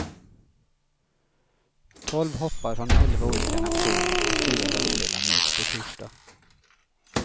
Tolv hoppare från elva olika nationer och fyra världsdelar möts på torsdag.